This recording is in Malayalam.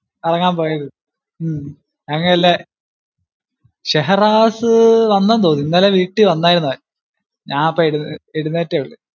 കറങ്ങാൻ പോയിരുന്നു. ഉം ഞങ്ങളില്ലേ, ഷെഹ്‌റാസ് വന്നെന്ന് തോന്നുന്നു, ഇന്നലെ വീട്ടിൽ വന്നായിരുന്നു അവൻ. ഞാൻ ഇപ്പൊ എഴുന്നേറ്റെ ഉള്ളു.